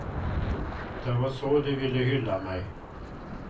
Det var så de ville hylla mig.